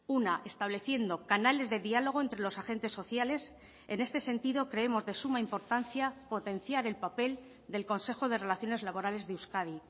una estableciendo canales de diálogo entre los agentes sociales en este sentido creemos de suma importancia potenciar el papel del consejo de relaciones laborales de euskadi